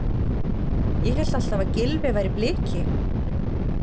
Ég hélt alltaf að Gylfi væri Bliki?